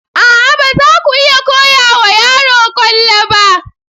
A'a! ba za ku iya koya wa yaro kwallo ba.